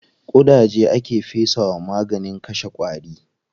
Ƙudaje aka fesa wa maganin kashe ƙwari.